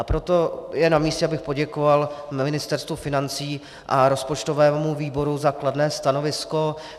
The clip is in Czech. A proto je namístě, abych poděkoval Ministerstvu financí a rozpočtovému výboru za kladné stanovisko.